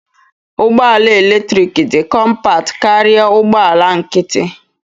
Ụgbọ ala eletrik dị kọmpat karịa ụgbọ ala nkịtị.